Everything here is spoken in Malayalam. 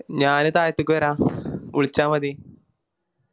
ഞാനീ തായത്തേക്ക് വേര വിളിച്ച മതി